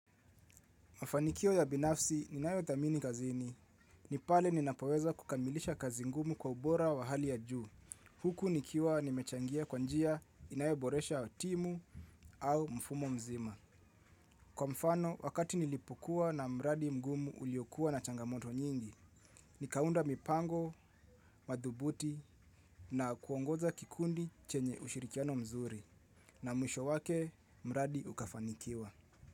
Mafanikio ya binafsi ninayo thamini kazini. Ni pale ninapoweza kukamilisha kazi ngumu kwa ubora wa hali ya juu. Huku nikiwa nimechangia kwa njia inayoboresha timu au mfumo mzima. Kwa mfano, wakati nilipokua na mradi mgumu uliokua na changamoto nyingi. Nikaunda mipango, madhubuti na kuongoza kikundi chenye ushirikiano mzuri. Na mwisho wake, mradi ukafanikiwa.